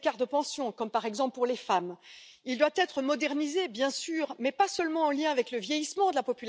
einzahlen. Wegen dieser Schwierigkeiten des Umlageverfahrens brauchen wir eine Ergänzung des Umlageverfahrens, und das kann ein Kapitaldeckungsverfahren